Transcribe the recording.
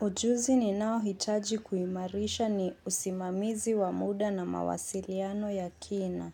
Ujuzi ninao hitaji kuimarisha ni usimamizi wa muda na mawasiliano ya kina.